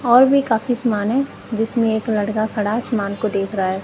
और भी काफी सामान है जिसमें एक लड़का खड़ा है सामान को देख रहा है।